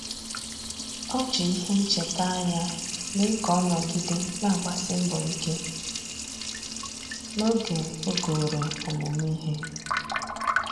Ọ́ jì ìhè nchètà ányá mee ka ọ́ nọ́gídè nà-àgbàsí mbọ̀ ike n’ógè ogòrò ọmụ́mụ́ ìhè.